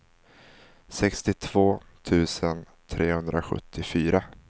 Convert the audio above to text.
sextiotvå tusen trehundrasjuttiofyra